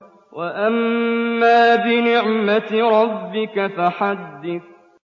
وَأَمَّا بِنِعْمَةِ رَبِّكَ فَحَدِّثْ